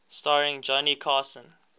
starring johnny carson